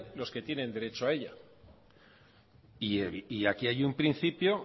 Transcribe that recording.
los que tienen derecho a ella y aquí hay un principio